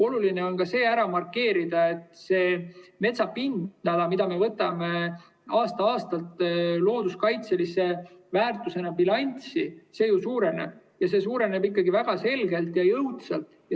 Oluline on ära markeerida, et metsa pindala, mida me võtame aasta-aastalt looduskaitselise väärtusena bilanssi, ju suureneb ja see suureneb ikkagi väga selgelt ja jõudsalt.